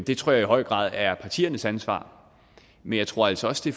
det tror jeg i høj grad er partiernes ansvar men jeg tror altså også